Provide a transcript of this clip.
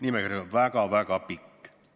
Nimekiri on väga-väga pikk.